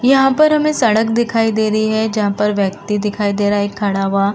यहाँ पर हमें सड़क दिखाई दे रही है जहाँ पर व्यक्ति दिखाई दे रहा है खड़ा हुआ।